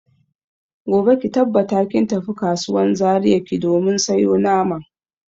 Gobe ki tabbata kin tafi kasuwan Zaria ki domin sayo naman.